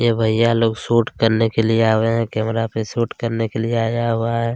ये भैया लोग शूट करने के लिए आय हुए है कैमरा पर शूट करने के लिए आया हुआ है।